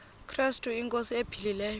krestu inkosi ephilileyo